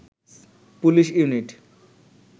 police unit